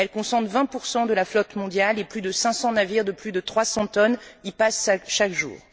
Elle concentre 20 de la flotte mondiale et plus de 500 navires de plus de 300 tonnes y passent chaque jour.